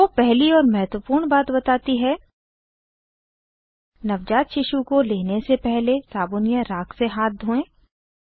वो पहली और महत्वपूर्ण बात बताती है नवजात शिशु को लेने से पहले साबुन या राख से हाथ धोएं